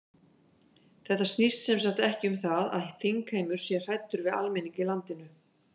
Þetta snýst sem sagt ekki um það að þingheimur sé hræddur við almenning í landinu?